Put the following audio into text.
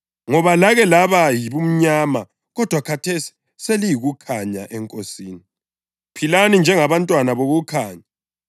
Ngoba lake laba yibumnyama kodwa khathesi seliyikukhanya eNkosini. Philani njengabantwana bokukhanya